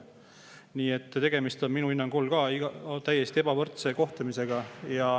Nii et tegemist on minu hinnangul täiesti ebavõrdse kohtlemisega.